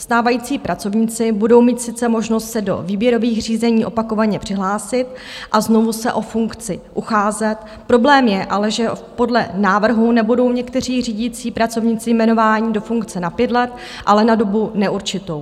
Stávající pracovníci budou mít sice možnost se do výběrových řízení opakovaně přihlásit a znovu se o funkci ucházet, problém je ale, že podle návrhu nebudou někteří řídící pracovníci jmenování do funkce na pět let, ale na dobu neurčitou.